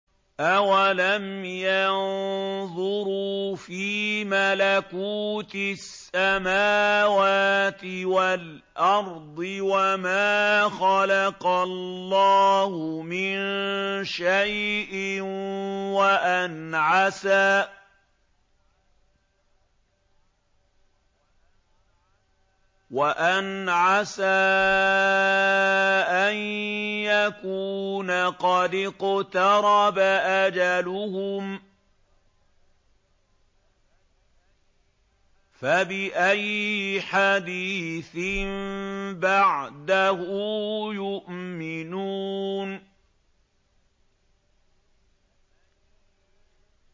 أَوَلَمْ يَنظُرُوا فِي مَلَكُوتِ السَّمَاوَاتِ وَالْأَرْضِ وَمَا خَلَقَ اللَّهُ مِن شَيْءٍ وَأَنْ عَسَىٰ أَن يَكُونَ قَدِ اقْتَرَبَ أَجَلُهُمْ ۖ فَبِأَيِّ حَدِيثٍ بَعْدَهُ يُؤْمِنُونَ